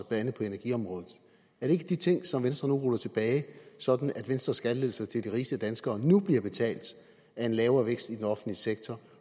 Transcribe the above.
andet energiområdet er det ikke de ting som venstre nu ruller tilbage sådan at venstres skattelettelser til de rigeste danskere nu bliver betalt af en lavere vækst i den offentlige sektor